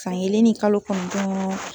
San kelen ni kalo kɔnɔntɔɔn